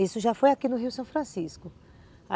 Isso já foi aqui no Rio São Francisco.